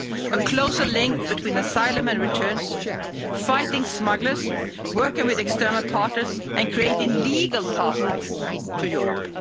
A closer link between asylum and returns, fighting smugglers, working with external parties and creating legal pathways to Europe.